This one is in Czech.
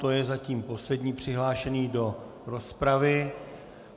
To je zatím poslední přihlášený do rozpravy.